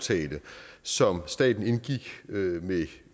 så går